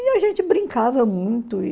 E a gente brincava muito e...